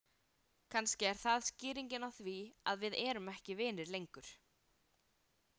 Kannski er það skýringin á því að við erum ekki vinir lengur.